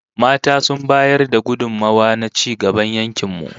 Mata sun bayar da gudummawa na ci gaban yankin mu